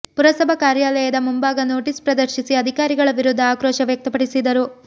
ಪುರಸಭಾ ಕಾರ್ಯಾಲಯದ ಮುಂಭಾಗ ನೋಟಿಸ್ ಪ್ರದರ್ಶಿಸಿ ಅಧಿಕಾರಿಗಳ ವಿರುದ್ಧ ಆಕ್ರೋಶ ವ್ಯಕ್ತಪಡಿಸಿದರು